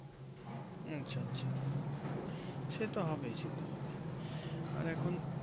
আচ্ছা হুম হুম সেট হবেই সেট হবেই আর এখন